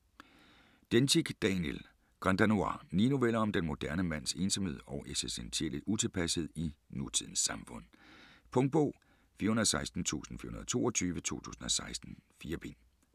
Dencik, Daniel: Grand danois Ni noveller om den moderne mands ensomhed og eksistentielle utilpassethed i nutidens samfund. Punktbog 416422 2016. 4 bind.